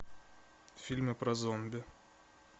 фильмы про зомби